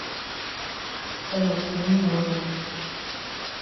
салют мы не можем